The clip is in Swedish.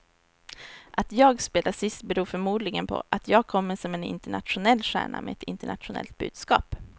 Att jag spelar sist beror förmodligen på att jag kommer som en internationell stjärna med ett internationellt budskap.